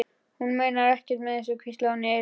Hún meinar ekkert með þessu, hvíslaði hún í eyra hans.